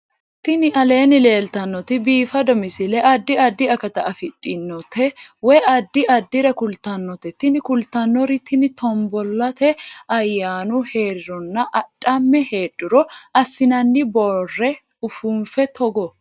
Tini aleenni leetannoti biifado misile adi addi akata afidhinote woy addi addire kultannote tini kultannori tini tombollate ayyanu heerironna adhamme heedhuro assinanni boorre ufuunfe togo